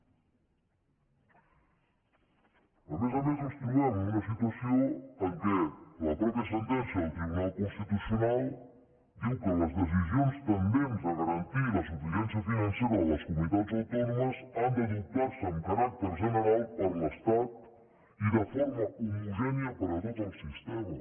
a més a més ens trobem amb una situació en què la mateixa sentència del tribunal constitucional diu que les decisions tendents a garantir la suficiència financera de les comunitats autònomes han d’adoptar se amb caràcter general per l’estat i de forma homogènia per a tot el sistema